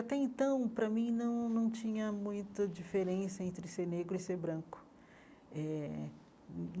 Até então, para mim, não não tinha muita diferença entre ser negro e ser branco eh.